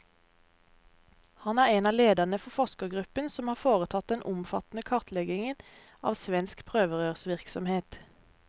Han er en av lederne for forskergruppen som har foretatt den omfattende kartleggingen av svensk prøverørsvirksomhet.